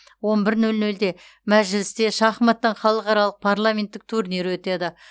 он бір нөл нөлде мәжілісте шахматтан халықаралық парламенттік турнир өтеді